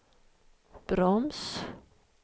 broms